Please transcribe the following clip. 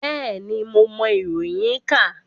Bẹ́ẹ̀ni, mo mọ iroyin ka.